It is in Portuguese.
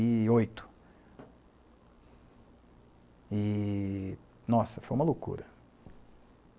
e oito. E... Nossa, foi uma loucura.